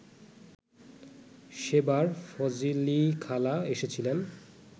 সেবার ফজলিখালা এসেছিলেন